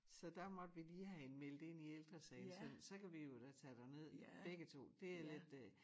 Så der måtte vi lige have hende meldt ind i ældresagen så så kan vi jo da tage derned begge to dét er lidt øh